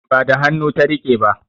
Ba da hannu ta riƙe ba